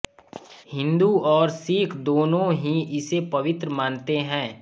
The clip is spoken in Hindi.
हिन्दू और सिक्ख दोनों ही इसे पवित्र मानते हैं